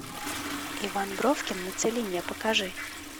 иван бровкин на целине покажи